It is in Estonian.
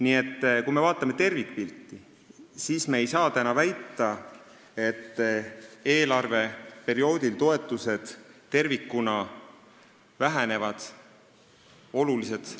Nii et kui me vaatame tervikpilti, siis ei saa väita, nagu eelarveperioodil toetused tervikuna oluliselt väheneksid.